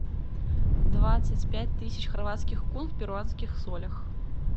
двадцать пять тысяч хорватских кун в перуанских солях